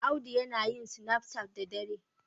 Audu yana yin sinaf cat da dare.